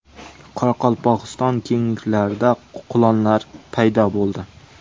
Qoraqalpog‘iston kengliklarida qulonlar paydo bo‘ldi .